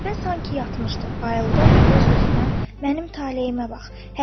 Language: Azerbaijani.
Qətibə sanki yatmışdı, ayıldı və öz-özünə mənim taleyimə bax.